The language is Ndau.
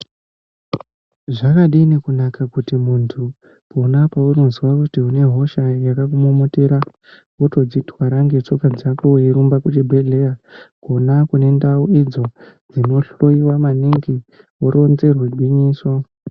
Zvakadini kunaka kuti muntu pona pounozwa kuti unehosha yakakumomotera votodzitwara ndetsoka dzako veirumba kuchibhedhlera. Kona kune ndau idzo dzinohloiwa maningi voronzerwa gwinyiso.